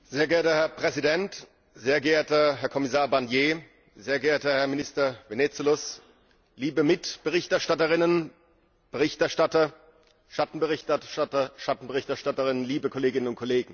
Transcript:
Herr Präsident, sehr geehrter Herr Kommissar Barnier, sehr geehrter Herr Minister Venizelos, liebe Mitberichterstatterinnen, Berichterstatter, Schattenberichterstatter, Schattenberichterstatterinnen, liebe Kolleginnen und Kollegen!